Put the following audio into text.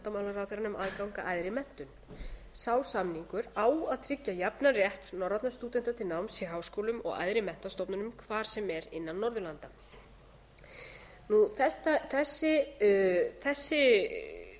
að æðri menntun sá samningur á að tryggja jafnan rétt norrænna stúdenta til náms í háskólum og æðri menntastofnunum hvar sem er innan norðurlandanna þessi